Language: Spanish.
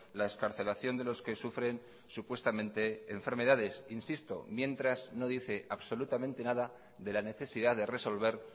la excarcelación de los que sufren supuestamente enfermedades insisto mientras no dice absolutamente nada de la necesidad de resolver